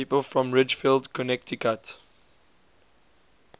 people from ridgefield connecticut